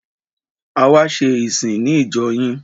A wá ṣe ìsìn ní ìjọ yín.